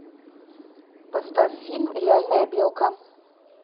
поставь фильм реальная белка